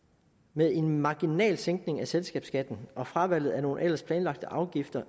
med en marginal sænkning af selskabsskatten og fravalget af nogle ellers planlagte afgifter